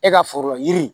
E ka foro yiri